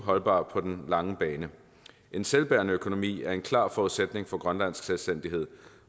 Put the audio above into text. holdbart på den lange bane en selvbærende økonomi er en klar forudsætning for grønlandsk selvstændighed